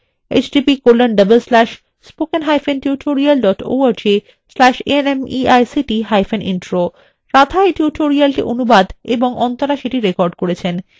এই বিষয় বিস্তারিত তথ্য এই লিঙ্কএ প্রাপ্তিসাধ্য